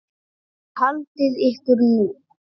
Og haldið ykkur nú.